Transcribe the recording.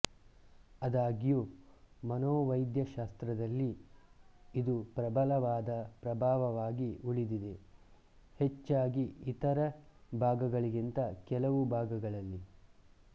ಆದಾಗ್ಯೂ ಮನೋವೈದ್ಯಶಾಸ್ತ್ರದಲ್ಲಿ ಇದು ಪ್ರಬಲವಾದ ಪ್ರಭಾವವಾಗಿ ಉಳಿದಿದೆ ಹೆಚ್ಚಾಗಿ ಇತರ ಭಾಗಗಳಿಗಿಂತ ಕೆಲವು ಭಾಗಗಳಲ್ಲಿ